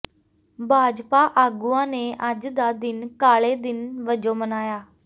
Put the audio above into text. ਭਾਜਪਾ ਆਗੂਆਂ ਨੇ ਅੱਜ ਦਾ ਦਿਨ ਕਾਲੇ ਦਿਨ ਵਜੋਂ ਮਨਾਇਆ